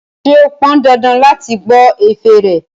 Ṣé ó pon dandan ni láti gbọ́ ẹ̀fẹ̀ rẹ̀?